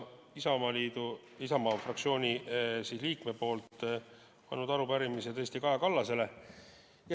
Oleme tõesti Isamaa fraktsiooni üheksa liikmega üle andnud arupärimise Kaja Kallasele.